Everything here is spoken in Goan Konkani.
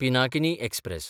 पिनाकिनी एक्सप्रॅस